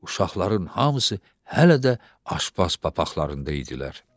Uşaqların hamısı hələ də aşpaz papaqlarında idilər.